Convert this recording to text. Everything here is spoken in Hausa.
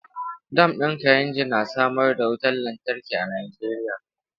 Dam din Kainji na samar da wutar lantarki a Najeriya.